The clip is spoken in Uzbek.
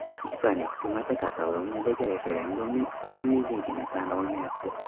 Ispaniya hukumati Kataloniyadagi referendumning qonuniyligini tan olmayapti.